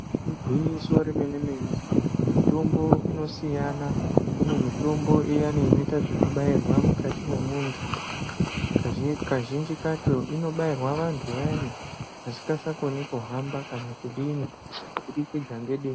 Igwinyiso remene-mene, mitombo inosiyana, kune mitombo iyani inoite zvekubairwe mukati mwemuntu. Kazhinji kacho inobairwa antu ayani asisakoni kuhamba kana kudini, kubudikidza nedenda rinonga rashata yaamho.